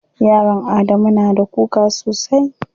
Yaron Adamu na da kuka sosai.